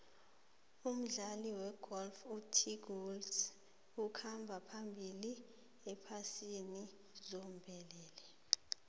umdlali wegolf utiger woods ukhamba phambili ephasini zombelele